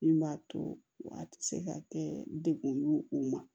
Min b'a to a tɛ se ka kɛ dekun ye o ma